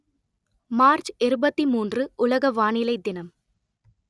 March இருபத்தி மூன்று உலக வானிலை தினம்